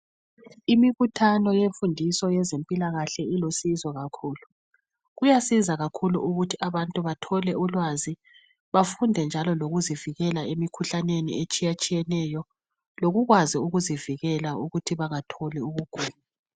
Imibuthano yemfundiso yezempilakahle ilusizo kakhulu Kuyasiza kakhulu ukuthi abantu bathole ulwazi bafunde njalo lokuzivikela emikhuhlaneni etshiyatshiyeneyo lokukwazi ukuzivikela ukuthi bangatholi umkhuhlane .